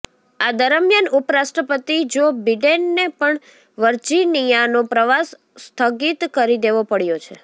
આ દરમિયાન ઉપરાષ્ટ્રપતિ જો બિડેનને પણ વર્જિનિયાનો પ્રવાસ સ્થગિત કરી દેવો પડ્યો છે